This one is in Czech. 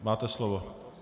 Máte slovo.